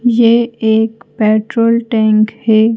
यह एक petrol tank है।